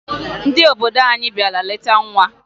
Ndị obodo anyị bịara leta nwa